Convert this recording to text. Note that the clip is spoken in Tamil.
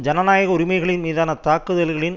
ஜனநாயக உரிமைகளின் மீதான தாக்குதல்களின்